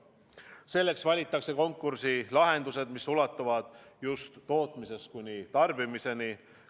Selleks valitakse konkursi lahendused, mis ulatuvad tootmisest kuni tarbimiseni.